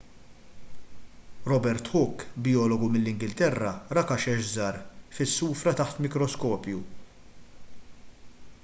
robert hooke bijologu mill-ingilterra ra kaxex żgħar fis-sufra taħt mikroskopju